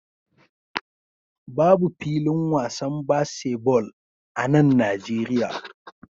Babu filin wasan baseball a nan Najeriya